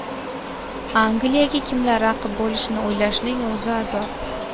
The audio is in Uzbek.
Angliyaga kimlar raqib bo‘lishini o‘ylashning o‘zi azob.